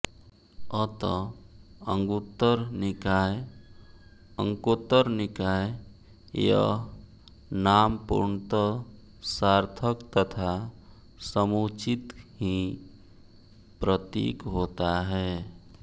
अतः अंगुत्तरनिकाय अंकोत्तरनिकाय यह नाम पूर्णतः सार्थक तथा समुचित ही प्रतीत होता है